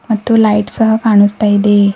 ಮತ್ತು ಲೈಟ್ಸ್ ಸಹ ಕಾಣಿಸ್ತಾ ಇದೆ.